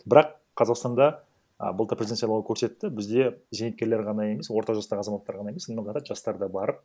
бірақ қазақстанда а былтыр президент сайлауы көрсетті бізде зейнеткерлер ғана емес орта жастағы азаматтар ғана емес жастар да барып